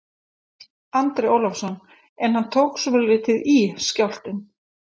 Andri Ólafsson: En hann tók svolítið í, skjálftinn?